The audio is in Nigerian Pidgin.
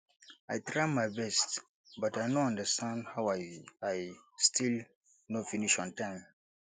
i try my best but i no understand how i i still no finish on time